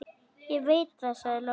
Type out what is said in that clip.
Ég veit það, sagði Lóa.